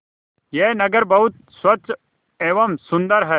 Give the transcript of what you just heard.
यह नगर बहुत स्वच्छ एवं सुंदर है